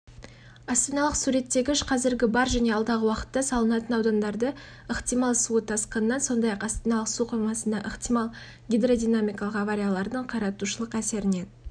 астаналық суреттегіш қазіргі бар және алдағы уақытта салынатын аудандарды ықтимал су тасқынынан сондай-ақ астаналық су қоймасындағы ықтимал гидродинамикалық авариялардың қиратушылық әсерінен